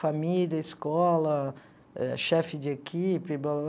Família, escola, chefe de equipe, blá, blá, blá.